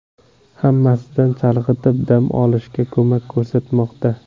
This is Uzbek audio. Hammasidan chalg‘itib, dam olishga ko‘mak ko‘rsatmoqda.